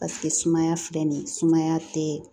Paseke sumaya filɛ nin ye sumaya tɛ